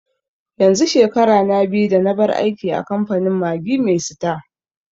yanzu shekara na biyu da nabar aiki a kamfanin Maggi mai sita